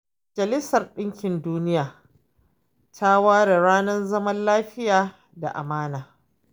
Majalisar Ɗinkin Duniya ta ware ranar zaman lafiya da amana.